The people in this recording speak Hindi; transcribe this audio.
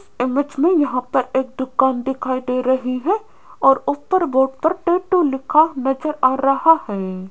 इमेज में यहां पर एक दुकान दिखाई दे रही है और ऊपर बोर्ड पर टैटू लिखा नजर आ रहा है।